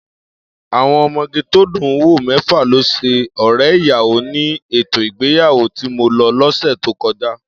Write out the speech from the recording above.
Àwo̩n o̩mo̩gé tó dùn-ún wò mé̩fà ló s̩e ò̩ré̩ ìyàwó ní ètò ìgbéyàwó tí mo lo̩ lọ́sè̩ tó ko̩já